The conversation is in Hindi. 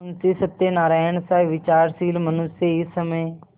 मुंशी सत्यनारायणसा विचारशील मनुष्य इस समय